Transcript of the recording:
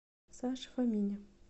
саше фомине